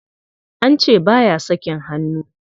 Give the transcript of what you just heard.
An ce ba ya sakin hannu.